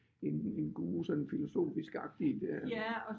En en guru sådan filosofiskagtigt øh